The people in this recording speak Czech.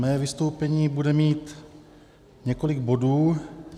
Mé vystoupení bude mít několik bodů.